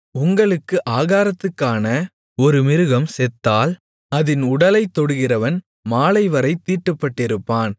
உங்களுக்கு ஆகாரத்துக்கான ஒரு மிருகம் செத்தால் அதின் உடலைத்தொடுகிறவன் மாலைவரைத் தீட்டுப்பட்டிருப்பான்